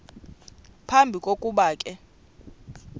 phambi kokuba ke